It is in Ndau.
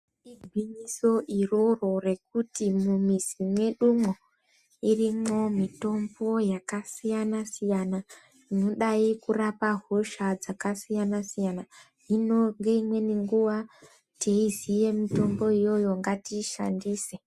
Igwinyiso iroro rekuti mumwizi mwedumwo irimwo mitombo yakasiyana siyana inodai kurapa hosha dzakasiyana siyana hino ngeimweni nguwa teiziya mitomboyoyo ngatiishandise.